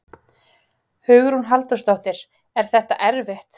Hugrún Halldórsdóttir: Er þetta erfitt?